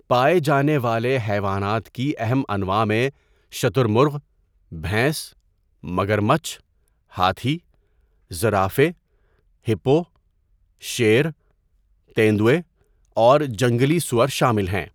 پائے جانے والے حیوانات کی اہم انواع میں شتر مرغ، بھینس، مگرمچھ، ہاتھی، زرافے، ہپو، شیر، تیندوے اور جنگلی سؤر شامل ہیں۔